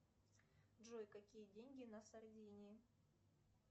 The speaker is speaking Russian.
джой какие деньги на сардинии